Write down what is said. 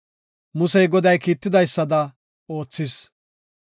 Musey, Goday kiitidaysada oothis.